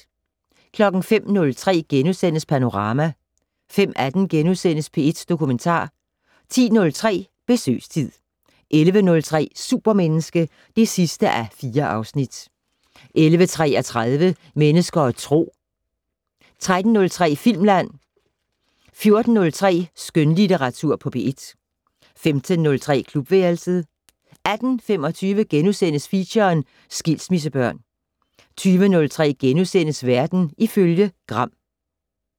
05:03: Panorama * 05:18: P1 Dokumentar * 10:03: Besøgstid 11:03: Supermenneske (4:4) 11:33: Mennesker og Tro 13:03: Filmland 14:03: Skønlitteratur på P1 15:03: Klubværelset 18:25: Feature: Skilsmissebørn * 20:03: Verden ifølge Gram *